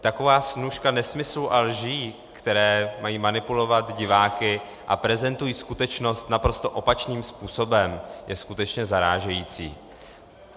Taková snůška nesmyslů a lží, které mají manipulovat diváky a prezentují skutečnost naprosto opačným způsobem, je skutečně zarážející.